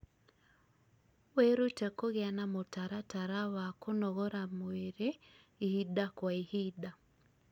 wĩrute kũgĩa na mũtaratara wa kũnogora mwĩrĩ ihinda kwa ihinda